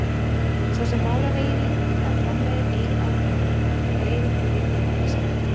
Sá sem málar eigin íbúð eða framleiðir eigið áfengi greiðir fyrir vikið lægri skatta.